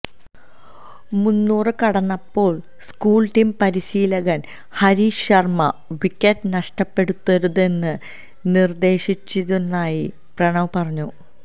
മുന്നൂറ് കടന്നപ്പോള് school team പരിശീലകന് ഹരീഷ് ശര്മ വിക്കറ്റ് നഷ്ടപ്പെടുത്തരുതെന്ന് നിര്ദേശിച്ചിരുന്നതായി പ്രണവ് പറഞ്ഞു